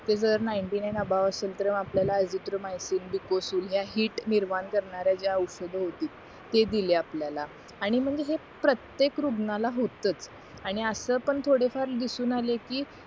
ते जर नाईनटीनाईन अभाव असेल तर मग आपल्याला अझिथ्रोमायसिन डिकोसील ह्या हीट निर्माण करणाऱ्या ज्या औषध होती ते दिले आपल्याला आणि मग मी हे प्रत्येक रुग्णाला होताच आणि असं पण थोडे फार दिसून आले कि